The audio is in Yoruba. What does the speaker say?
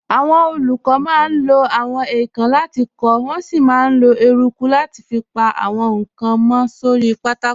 Àwọn olùkọ́ máa ń lo àwọn èèkàn láti kọ, wọ́n sì máa ń lo eruku láti fi pa àwọn nǹkan mọ́ sórí pátákó.